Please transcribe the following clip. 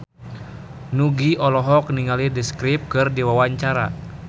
Nugie olohok ningali The Script keur diwawancara